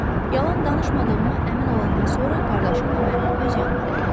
Yalan danışmadığıma əmin olandan sonra qardaşımla məni öz yanına apardı.